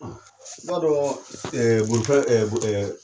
I b'a dɔn bolifɛ boli